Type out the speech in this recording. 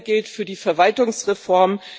Dasselbe gilt für die Verwaltungsreform.